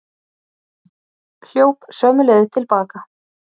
Hljóp sömu leið til baka.